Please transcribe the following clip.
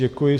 Děkuji.